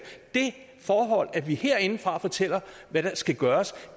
det forhold at vi herindefra fortæller hvad der skal gøres